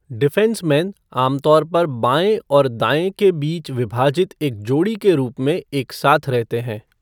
Defenceman आम तौर पर बाएँ और दाएँ के बीच विभाजित एक जोड़ी के रूप में एक साथ रहते हैं।